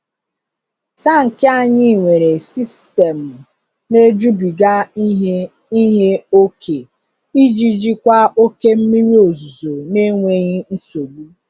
Tankị anyị nwere sistemu na-ejubiga ihe ihe ókè iji jikwa oke mmiri ozuzo n'enweghị nsogbu.